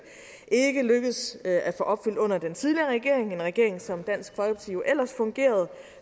ikke lykkedes med at få opfyldt under den tidligere regering en regering som dansk folkeparti jo ellers fungerede